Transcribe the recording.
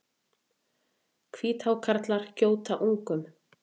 Hvíthákarlar gjóta ungum.